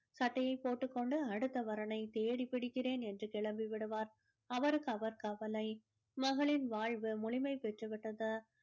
சட்டையை போட்டுக்கொண்டு அடுத்த வரனைத் தேடி பிடிக்கிறேன் என்று கிளம்பி விடுவார் அவருக்கு அவர் கவலை மகனின் வாழ்வு முழுமை பெற்று விட்டது